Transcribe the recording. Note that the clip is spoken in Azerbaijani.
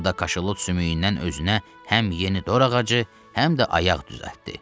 O da kaşalot sümüyündən özünə həm yeni dor ağacı, həm də ayaq düzəltdi.